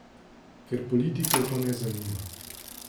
Ker politikov to ne zanima.